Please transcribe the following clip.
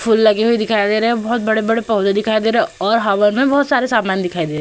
फूल लगे हुए दिखाई दे रहे हैं। बहोत बड़े-बड़े पौधे दिखाई दे रहे हैं और हवन में बहोत सारे समान दिखाई दे रहे हैं।